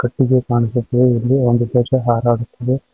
ಇದು ಇಲ್ಲಿ ಒಂದು ಧ್ವಜ ಹಾರಾಡುತ್ತಿದೆ.